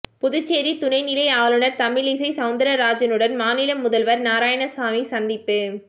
புதுச்சேரி துணைநிலை ஆளுநர் தமிழிசை சௌந்தரராஜனுடன் மாநில முதல்வர் நாராயணசாமி சந்திப்பு